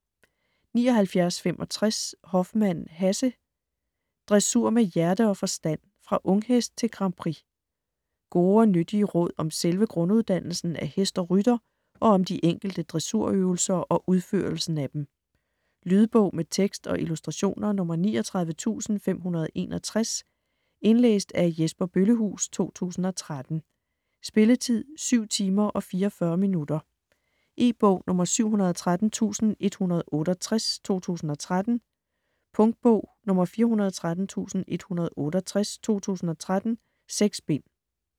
79.65 Hoffmann, Hasse: Dressur med hjerte og forstand: fra unghest til Grand Prix Gode og nyttige råd om selve grunduddannelsen af hest og rytter og om de enkelte dressurøvelser og udførelsen af dem. Lydbog med tekst og illustrationer 39561 Indlæst af Jesper Bøllehuus, 2013. Spilletid: 7 timer, 44 minutter. E-bog 713168 2013. Punktbog 413168 2013. 6 bind.